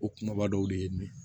O kumaba dɔw de ye nin ye